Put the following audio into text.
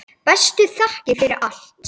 Bestu þakkir fyrir allt.